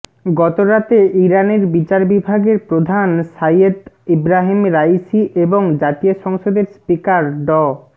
গতরাতে ইরানের বিচার বিভাগের প্রধান সাইয়্যেদ ইব্রাহিম রায়িসি এবং জাতীয় সংসদের স্পিকার ড